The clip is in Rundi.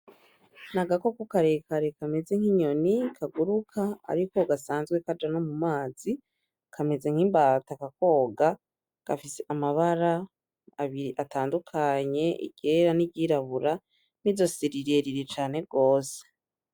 N'agakoko karekare kameze nk'inyoni kaguruka ariko gasanzwe kaja no mumazi, kameze nk'imbata kakoga gafise amabara abiri atadukanye iryera n'iryirabura, n'izosi rirerire cane gose.